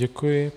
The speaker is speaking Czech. Děkuji.